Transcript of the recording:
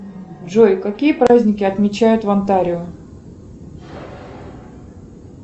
джой какие праздники отмечают в онтарио